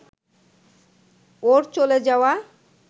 ওর চলে যাওয়া